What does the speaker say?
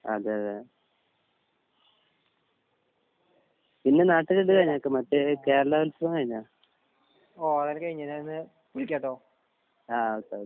അതെ അതെ പിന്നെ നാട്ടിൽ ഇല്ലേ മറ്റേ കേരളോത്സവം കഴിഞ്ഞോ? ആഹ് ഓക്കേ ഓക്കേ